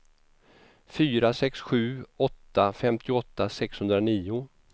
fyra sex sju åtta femtioåtta sexhundranio